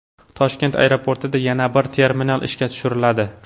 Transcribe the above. Toshkent aeroportida yana bir terminal ishga tushiriladi.